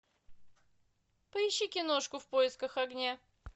поищи киношку в поисках огня